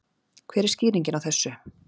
Hver er skýringin á þessu?